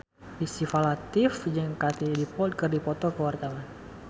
Syifa Latief jeung Katie Dippold keur dipoto ku wartawan